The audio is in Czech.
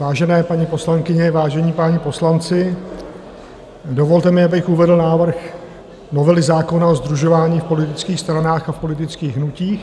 Vážené paní poslankyně, vážení páni poslanci, dovolte mi, abych uvedl návrh novely zákona o sdružování v politických stranách a v politických hnutích.